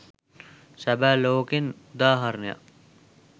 සැබෑ ලෝකෙන් උදාහරණයක්.